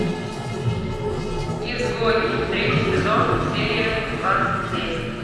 изгой третий сезон серия двадцать семь